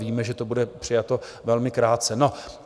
Víme, že to bude přijato velmi krátce.